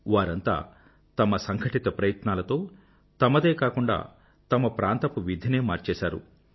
వారంతా తమ సంఘటిత ప్రయత్నాలతో తమదే కాకుండా తమ ప్రాంతపు విధినే మార్చేసారు